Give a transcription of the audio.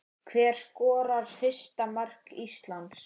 Hver skorar fyrsta mark Íslands?